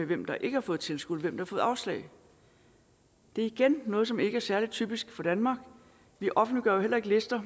hvem der ikke har fået tilskud hvem der har fået afslag det er igen noget som ikke er særlig typisk for danmark vi offentliggør jo heller ikke lister